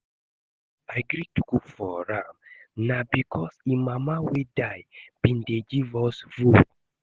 The only reason I gree to cook for am na because im mama wey die bin dey give us food